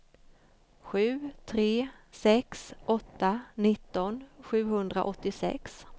sju tre sex åtta nitton sjuhundraåttiosex